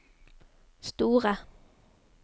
store